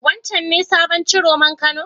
Wancen ne sabon Ciroman Kano?